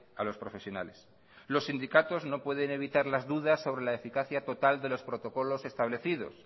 a los profesionales los sindicatos no pueden evitar las dudas sobre la eficacia total de los protocolos establecidos